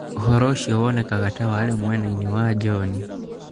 Ũhoro ũcio wonekaga ta warĩ mwena inĩ wa John.